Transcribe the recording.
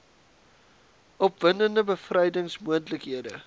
opwindende bevrydings moontlikhede